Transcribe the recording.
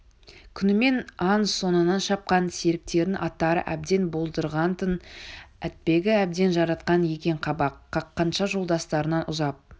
күнімен аң соңынан шапқан серіктерінің аттары әбден болдырған-тын атбегі әбден жаратқан екен қабақ қаққанша жолдастарынан ұзап